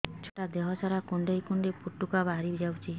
ଛୁଆ ଟା ଦେହ ସାରା କୁଣ୍ଡାଇ କୁଣ୍ଡାଇ ପୁଟୁକା ବାହାରି ଯାଉଛି